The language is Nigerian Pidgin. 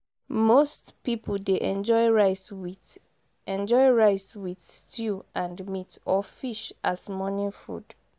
most pipo dey enjoy rice with enjoy rice with stew and meat or fish as morning food